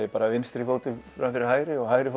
ég bara vinstri fótinn fram fyrir hægri og hægri